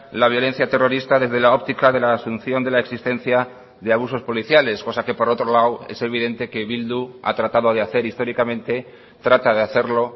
la violencia terrorista desde la óptica de la asunción de la existencia de abusos policiales cosa que por otro lado es evidente que bildu ha tratado de hacer históricamente trata de hacerlo